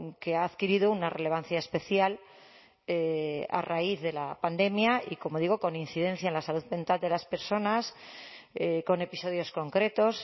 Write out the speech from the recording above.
que ha adquirido una relevancia especial a raíz de la pandemia y como digo con incidencia en la salud mental de las personas con episodios concretos